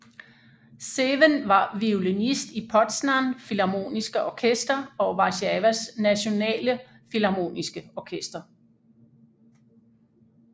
Sewen var violinist i Poznań Filharmoniske Orkester og Warszawas Nationale Filharmoniske Orkester